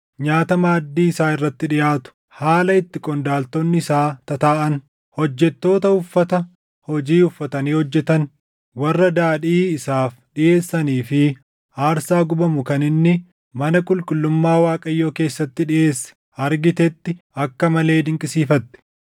nyaata maaddii isaa irratti dhiʼaatu, haala itti qondaaltonni isaa tataaʼan, hojjettoota uffata hojii uffatanii hojjetan, warra daadhii isaaf dhiʼeessanii fi aarsaa gubamu kan inni mana qulqullummaa Waaqayyoo keessatti dhiʼeesse argitetti akka malee dinqisiifatte.